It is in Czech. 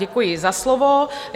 Děkuji za slovo.